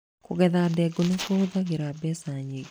Kũgetha ndengũ nĩ kũhũthagĩra mbeca nyingĩ.